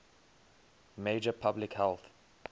major public health